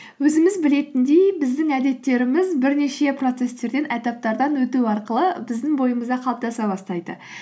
өзіміз білетіндей біздің әдеттеріміз бірнеше процесстерден этаптардан өту арқылы біздің бойымызда қалыптаса бастайды